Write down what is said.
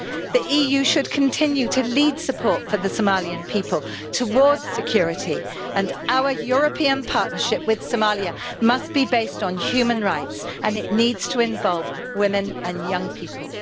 The EU should continue to lead support for the Somalian people, towards security, and our European partnership with Somalia must be based on human rights and it needs to involve women and young people.